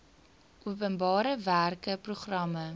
openbare werke programme